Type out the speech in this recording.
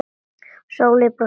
Sóley brosti til hans.